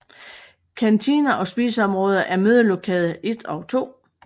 Kantine og spise område er mødelokale 1 og 2